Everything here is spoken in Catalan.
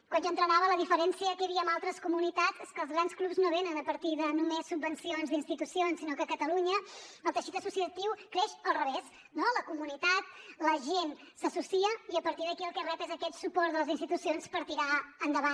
quan jo entrenava la diferència que hi havia amb altres comunitats és que els grans clubs no venen a partir de només subvencions d’institucions sinó que a catalunya el teixit associatiu creix al revés no la comunitat la gent s’associa i a partir d’aquí el que rep és aquest suport de les institucions per tirar endavant